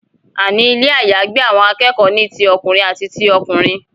àní Ilé àyágbé àwọn akẹ́kọ̀ọ́ ní tí ọkùnrin àti tí ọkùnrin.